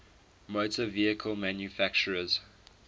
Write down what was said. motor vehicle manufacturers